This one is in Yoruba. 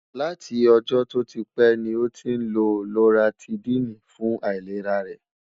látí ọ̀jó tó típè ní ọ tín ló loratidini fún àìlèrá rè